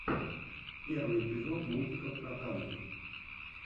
первый эпизод мультиков про танки